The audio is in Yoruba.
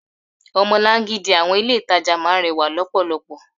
Omolan-gidi àwọn ilé itàjà máa ń rẹwà lọpọlọpọ.